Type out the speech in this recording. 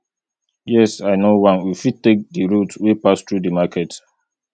yes i know one we fit take di route wey pass through di market